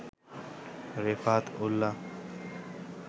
Refat Ullah